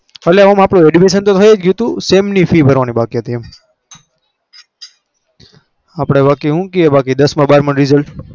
એટલે આમ આપણું admission થયું ગયું હતું sem ની fee ભરવાની બાકી હતી એમ. આપણે બાકી શું કહે કે બાકી દસમાં બારમાં નું result